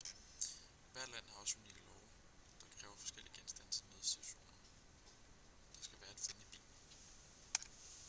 hvert land har også unikke love der kræver forskellige genstande til nødsituationer der skal være at finde i bilen